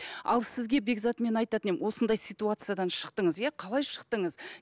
ал сізге бекзат мен айтатын едім осындай ситуациядан шықтыңыз иә қалай шықтыңыз